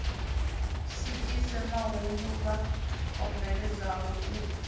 swikise mahumbulwa o bveledzwaho u